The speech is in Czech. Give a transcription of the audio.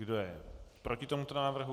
Kdo je proti tomuto návrhu?